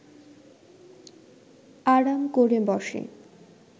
আরাম ক’রে বসে